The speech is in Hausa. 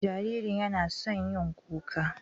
Jaririn yana son yin kuka.